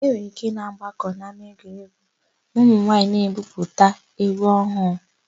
E nwere íké ịgbakọ n'ámáegwuregwu ma ụmụnwaayị na-ebupụta égwú ọhụụ.